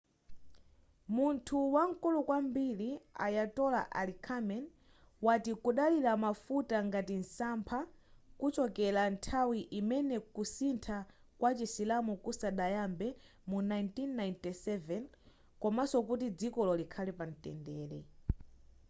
munthu wankulu kwambiri ayatollah ali khameni wati kudalira mafuta ngati nsampha kuchokera nthawi imenekusintha kwa chisilamu kusadayambe mu 1997 komanso kuti dzikolo likhale pamtendere